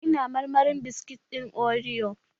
Ina marmarin biskit ɗin oriyo